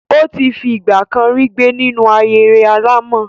Ó ti fi ìgbà kan rí gbé nínú ahéré alàmọ̀.